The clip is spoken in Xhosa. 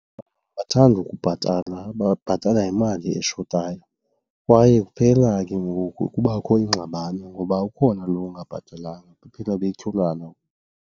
Abathandi ukubhatala babhatala ngemali eshotayo kwaye kuphela ke ngoku kubakho ingxabano ngoba ukhona lo ungabhatelanga, baphela betyholana.